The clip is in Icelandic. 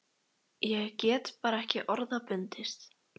Ég get bara ekki orða bundist.